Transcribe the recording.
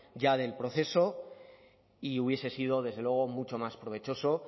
ya del proceso y hubiese sido desde luego mucho más provechoso